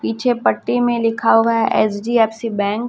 पीछे पट्टी में लिखा हुआ है एच_डी_एफ_सी बैंक ।